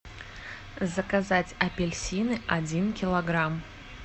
заказать апельсины один килограмм